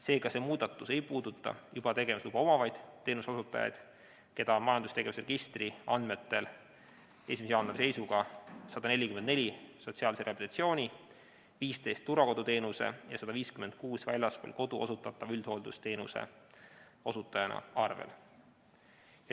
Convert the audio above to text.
Seega, see muudatus ei puuduta juba tegevusluba omavaid teenuseosutajad, keda on majandustegevuse registri andmetel 1. jaanuari seisuga 144 sotsiaalse rehabilitatsiooni, 15 turvakoduteenuse ja 156 väljaspool kodu osutatava üldhooldusteenuse osutajana arvel.